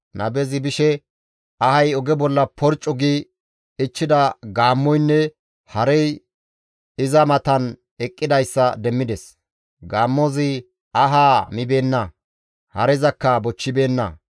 Nabezi bishe ahay oge bolla porccu gi ichchida gaammoynne harey iza matan eqqidayssa demmides. Gaammozi ahaa mibeenna; harezakka bochchibeenna.